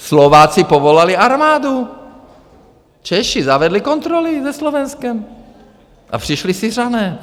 Slováci povolali armádu, Češi zavedli kontroly se Slovenskem a přišli Syřané.